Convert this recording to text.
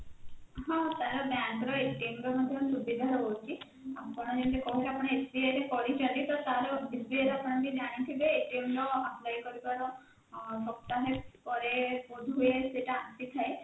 ହଁ ତାର bank ର ର ମଧ୍ୟ ସୁବିଧା ରହୁଛି ଆପଣ ଯେମିତି କହୁଛନ୍ତି ଆପଣ SBI ରେ କରିଛନ୍ତି ତ ତାର SBI ର ଆପଣ ବି ଜାଣିଥିବେ ର apply କରିବାର ସପ୍ତାହେ ପରେ ବୋଧ ହୁଏ ସେଇଟା ଆସିଥାଏ